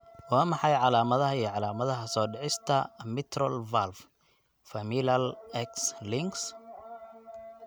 Waa maxay calaamadaha iyo calaamadaha soo dhicista mitral valve, familial, X links?